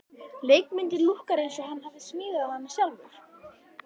Leikmyndin lúkkar eins og hann hafi smíðað hana sjálfur.